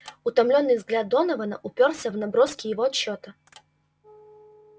утомлённый взгляд донована упёрся в наброски его отчёта